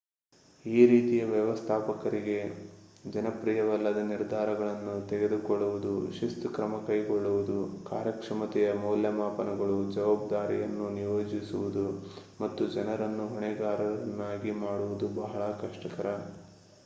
ಈ ರೀತಿಯ ವ್ಯವಸ್ಥಾಪಕರಿಗೆ ಜನಪ್ರಿಯವಲ್ಲದ ನಿರ್ಧಾರಗಳನ್ನು ತೆಗೆದುಕೊಳ್ಳುವುದು ಶಿಸ್ತು ಕ್ರಮ ಕೈಗೊಳ್ಳುವುದು ಕಾರ್ಯಕ್ಷಮತೆಯ ಮೌಲ್ಯಮಾಪನಗಳು ಜವಾಬ್ದಾರಿಯನ್ನು ನಿಯೋಜಿಸುವುದು ಮತ್ತು ಜನರನ್ನು ಹೊಣೆಗಾರರನ್ನಾಗಿ ಮಾಡುವುದು ಬಹಳ ಕಷ್ಟಕರ